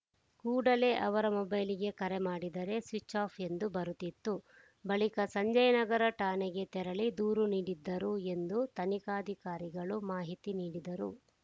ಕೂಡಲೇ ಅವರ ಮೊಬೈಲ್‌ಗೆ ಕರೆ ಮಾಡಿದರೆ ಸ್ವಿಚ್‌ಆಫ್‌ ಎಂದು ಬರುತ್ತಿತ್ತು ಬಳಿಕ ಸಂಜಯನಗರ ಠಾಣೆಗೆ ತೆರಳಿ ದೂರು ನೀಡಿದ್ದರು ಎಂದು ತನಿಖಾಧಿಕಾರಿಗಳು ಮಾಹಿತಿ ನೀಡಿದರು